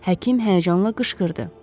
Həkim həyəcanla qışqırdı.